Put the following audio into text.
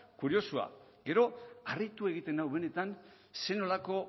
kuriosoa gero harritu egiten nau benetan zer nolako